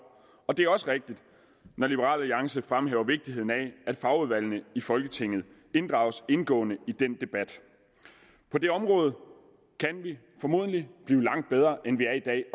og det er også rigtigt når liberal alliance fremhæver vigtigheden af at fagudvalgene i folketinget inddrages indgående i den debat på det område kan vi formodentlig blive langt bedre end vi er i dag